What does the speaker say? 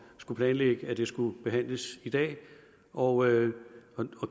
skulle planlægge at det skulle behandles i dag og jeg